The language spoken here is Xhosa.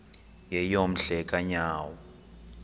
yeyom hle kanyawo